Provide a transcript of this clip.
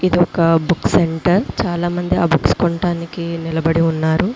ఒక book centre చాలామంది అనుకుంటా నీల పడి ఉన్నారు. పక్కనే క్యాలెండర్‌ లో పట్టాలు వెల్లడిస్తున్నాయి.